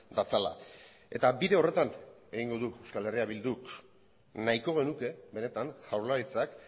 datzala eta bide horretan egingo du euskal herria bilduk nahiko genuke benetan jaurlaritzak